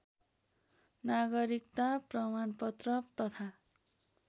नागरिकता प्रमाणपत्र तथा